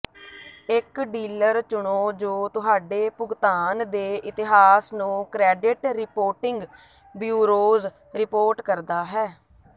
ਇੱਕ ਡੀਲਰ ਚੁਣੋ ਜੋ ਤੁਹਾਡੇ ਭੁਗਤਾਨ ਦੇ ਇਤਿਹਾਸ ਨੂੰ ਕ੍ਰੈਡਿਟ ਰਿਪੋਰਟਿੰਗ ਬਯੂਰੋਜ਼ ਰਿਪੋਰਟ ਕਰਦਾ ਹੈ